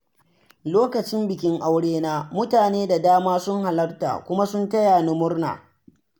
Lokacin bikin aure na, mutane da dama sun halarta kuma sun taya ni murna.